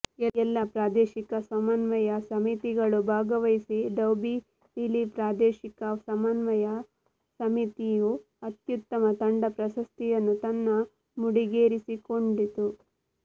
ಎಲ್ಲಾ ಪ್ರಾದೇಶಿಕ ಸಮನ್ವಯ ಸೆಮಿತಿಗಳು ಭಾಗವಹಿಸಿ ಡೋಔಬಿವಿಲಿ ಪ್ರಾದೇಶಿಕ ಸಮನ್ವಯ ಸಮಿತಿಯು ಅತ್ಯುತ್ತಮ ತಂಡ ಪ್ರಶಸ್ತಿಯನ್ನು ತನ್ನ ಮುಡಿಗೇರಿಸಿಕೊಔಡಿತು